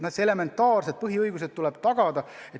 Ikkagi elementaarsed põhiõigused tuleb tagada.